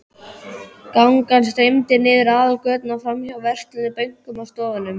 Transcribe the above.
Gangan streymdi niður aðalgötuna, framhjá verslunum, bönkum og stofnunum.